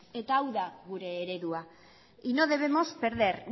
eta hau da gure eredua y no debemos perder